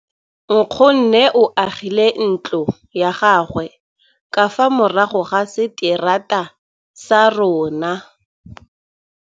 Nkgonne o agile ntlo ya gagwe ka fa morago ga seterata sa rona.